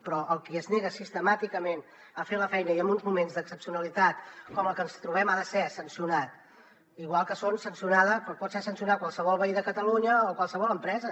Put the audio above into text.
però el qui es nega sistemàticament a fer la feina i en uns moments d’excepcionalitat com el que ens trobem ha de ser sancionat igual que pot ser sancionat qualsevol veí de catalunya o qualsevol empresa